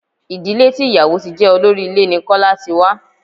Ìdílé tí ìyàwò ti jẹ́ olórí ilé ní Kọ́lá ti wá.